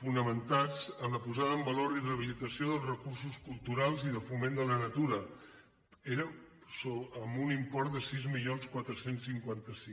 fonamentats en la posada en valor i rehabilitació dels recursos culturals i de foment de la natura amb un import de sis mil quatre cents i cinquanta cinc